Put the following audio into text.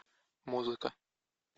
музыка